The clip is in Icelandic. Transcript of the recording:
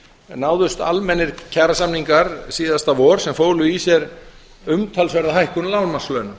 náðust almennir kjarasamningar síðasta vor sem fólu í sér umtalsverða hækkun lágmarkslauna